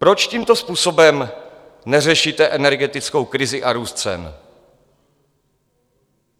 Proč tímto způsobem neřešíte energetickou krizi a růst cen?